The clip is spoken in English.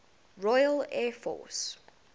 royal air force